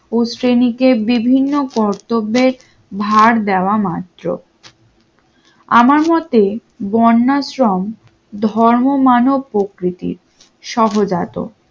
ও শ্রেণীকে বিভিন্ন কর্তব্যের ধার দেওয়া মাত্র আমার মতে বন্যা আশ্রম ধর্ম মানব প্রকৃতির সহজাত